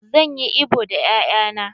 Zan yi ibo da 'ya'ya na.